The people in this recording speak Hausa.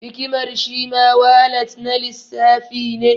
Hikimar shi ma walat na lissafi ne.